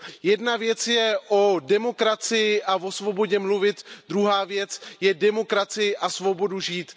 Jedna věc je o demokracii a o svobodě mluvit, druhá věc je demokracii a svobodu žít.